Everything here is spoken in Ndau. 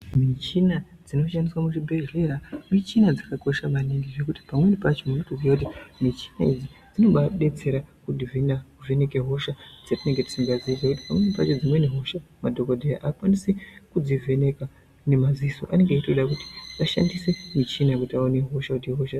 Michina dzinoshandiswa muzvibhedhlera muchina dzakakosha maningi zvekuti pamweni pacho munotoziye kuti muchina idzi dzinobaadetsera kuzvina kuvheneke hosha dzatinenge tisikazii pamweni oacho madhokodheya avakwanisi kudzivheneka ngemadziso anenga eitoda kuti ashandise muchina kuti aone hosha kuti ihosha yaka.